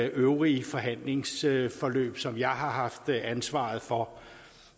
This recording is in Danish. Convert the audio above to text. øvrige forhandlingsforløb som jeg har haft ansvaret for